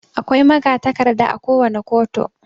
Akwai magatakarda akowane koto.